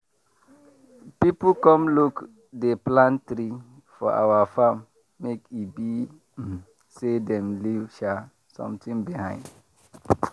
people come look dey plant tree for our farm make e be um say dem leave um something behind.